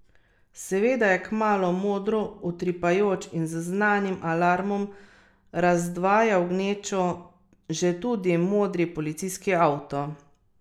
Seveda je kmalu modro utripajoč in z znanim alarmom razdvajal gnečo že tudi modri policijski avto.